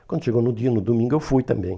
Quando chegou no dia, no domingo, eu fui também.